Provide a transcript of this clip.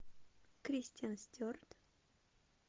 кристен стюарт